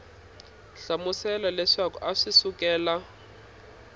hlamusela leswaku a swi sukela